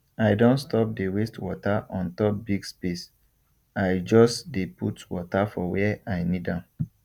i don stop dey waste water on top big space i just dey put water for where i need am